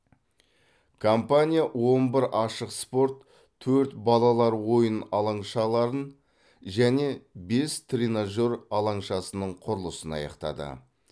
компания он бір ашық спорт төрт балалар ойын алаңшаларын және бес тренажер алаңшасының құрылысын аяқтады